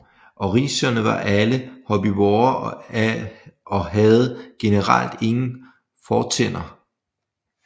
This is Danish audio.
Ornithischierne var alle herbivore og havde generelt ingen fortænder